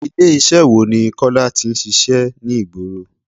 Ilé iṣẹ́ wo ni Kọ́lá tí ń ṣíṣe ní ìgboro?